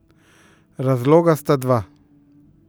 Razloga sta dva.